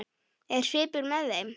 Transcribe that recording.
Er svipur með þeim?